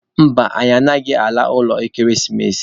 Mba, anyị agaghị ala ụlọ ekeresimesi.